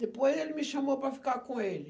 Depois ele me chamou para ficar com ele.